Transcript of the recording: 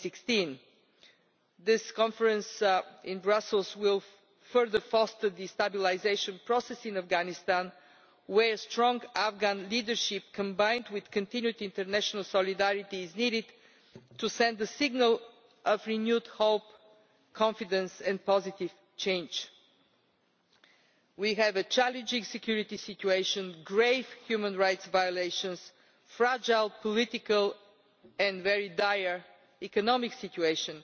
2016. This conference in Brussels will further foster the stabilisation process in Afghanistan, where strong Afghan leadership, combined with continued international solidarity, is needed to send a signal of renewed hope, confidence and positive change. We have a challenging security situation, grave human rights violations, a fragile political situation and a very dire economic situation.